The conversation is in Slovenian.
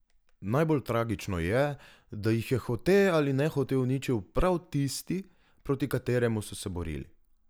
Najbolj tragično je, da jih je hote ali nehote uničil prav tisti, proti kateremu so se borili.